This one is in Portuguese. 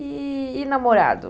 E... e namorado?